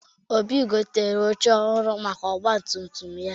Obi gotere oche ọhụrụ maka ọgbatumtum ya.